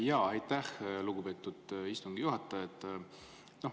Jaa, aitäh, lugupeetud istungi juhataja!